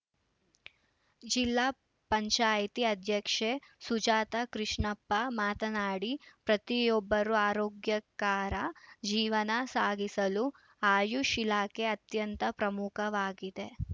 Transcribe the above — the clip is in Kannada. ಜಿಲ್ಲಾ ಪಂಚಾಯಿತಿ ಅಧ್ಯಕ್ಷೆ ಸುಜಾತ ಕೃಷ್ಣಪ್ಪ ಮಾತನಾಡಿ ಪ್ರತಿಯೊಬ್ಬರು ಆರೋಗ್ಯಕರ ಜೀವನ ಸಾಗಿಸಲು ಆಯುಷ್‌ ಇಲಾಖೆ ಅತ್ಯಂತ ಪ್ರಮುಖವಾಗಿದೆ